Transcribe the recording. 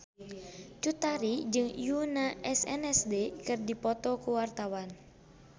Cut Tari jeung Yoona SNSD keur dipoto ku wartawan